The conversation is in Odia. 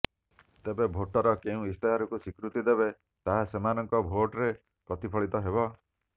ତେବେ ଭୋଟର କେଉଁ ଇସ୍ତାହାରକୁ ସ୍ବୀକୃତି ଦେବେ ତାହା ସେମାନଙ୍କ ଭୋଟରେ ପ୍ରତିଫଳିତ ହେବ